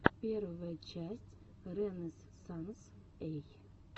первая часть рэнэзсанс эй